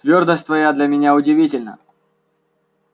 твёрдость твоя для меня удивительна